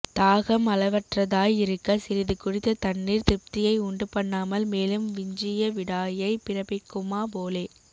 தாஹம் அளவற்றதாய் இருக்க சிறிது குடித்த தண்ணீர் திருப்தியை உண்டு பண்ணாமல் மேலும் விஞ்சிய விடாயை பிறப்பிக்குமா போலே